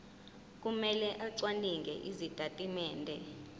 kumele acwaninge izitatimende